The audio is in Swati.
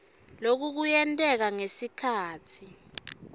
loku kuyenteka ngekhatsi